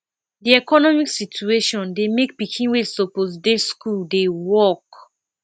di economic situation dey make pikin wey suppose dey school dey work